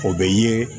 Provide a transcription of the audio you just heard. O bɛ ye